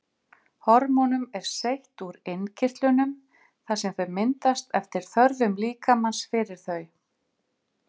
Hormónum er seytt úr innkirtlunum þar sem þau myndast eftir þörfum líkamans fyrir þau.